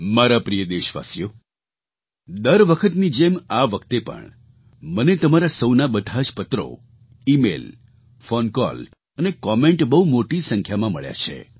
મારા પ્રિય દેશવાસીઓ દર વખતની જેમ આ વખતે પણ મને તમારા સહુના બધા જ પત્રો ઇમેઇલ ફૉન કૉલ અને કૉમેન્ટ બહુ મોટી સંખ્યામાં મળ્યાં છે